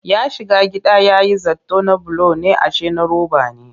Ya shiga gida ya yi zaton na bulo ne ashe na roba ne